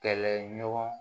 Kɛlɛɲɔgɔn